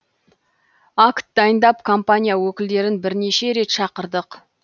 акт дайындап компания өкілдерін бірнеше рет шақырдық